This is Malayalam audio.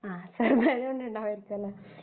ആ ഹ ഹ ഹ